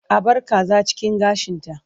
A bar kaza cikin gashinta.